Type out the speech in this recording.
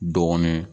Dɔɔnin